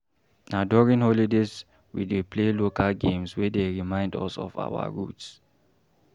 Na during holidays, we dey play local games wey dey remind us of our roots.